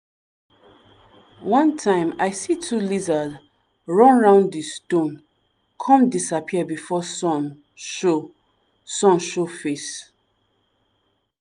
one time i see two lizard run round di stone come disappear before sun show sun show face.